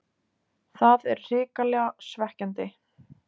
Það er hrikalega svekkjandi.